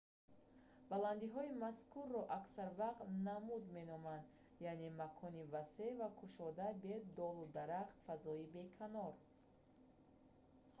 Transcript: баланддиҳои мазкурро аксар вақт намуд меноманд яъне макони васеъ ва кушодаи бе долу дарахт фазои беканор